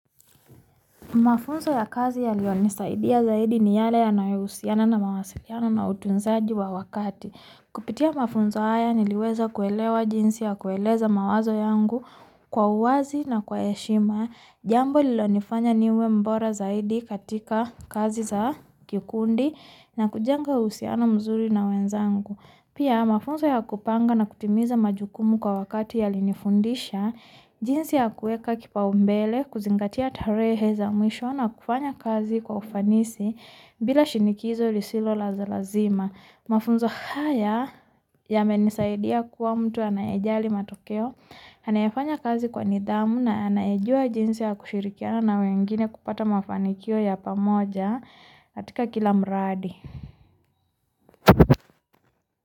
Mafunzo ya kazi ya liyonisaidia zaidi ni yale yanayo usiana na mawasiliano na utunzaji wa wakati kupitia mafunzo aya niliweza kuelewa jinsi ya kueleza mawazo yangu kwa uwazi na kwaeshima jambo lilonifanya niwe mbora zaidi katika kazi za kikundi na kujanga usiano mzuli na wenzangu Pia mafunzo ya kupanga na kutimiza majukumu kwa wakati yalinifundisha jinsi ya kuweka kipaombele kuzingatia tarehe za mwisho na kufanya kazi kwa ufanisi bila shinikizo lisilo la lazima mafunzo haya yamenisaidia kuwa mtu anayejali matokeo anaefanya kazi nidamu na anayejua jinsi ya kushirikiana na mwengine kupata mafanikio ya pamoja katika kila mradi.